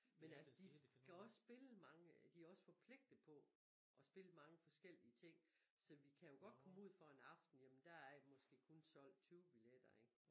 Men altså de skal også spille mange de også forpligtet på og spille mange forskellige ting så vi kan jo godt komme ud for en aften jamen der er måske kun solgt 20 billetter ikke